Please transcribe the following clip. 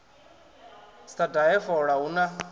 sa dahe fola hu na